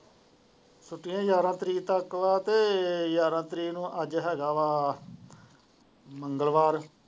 ਛੁਟੀਆਂ ਗਿਆਰ੍ਹਾਂ ਤਾਰੀਕ ਤੱਕ ਵਾ ਤਾ ਗਿਆਰ੍ਹਾਂ ਤਾਰੀਕ ਨੂੰ ਅੱਜ ਹੈਗਾ ਵਾ ਮੰਗਲਵਾਰ।